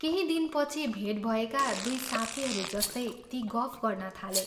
केही दिनपछि भेट भएका दुइ साथीहरू जस्तै ती गफ गर्न थाले।